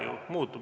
Muutub ju.